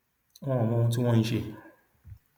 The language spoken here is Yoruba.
wọn ò mọ ohun tí wọn ń ṣe